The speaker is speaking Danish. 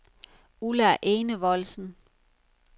Ulla Enevoldsen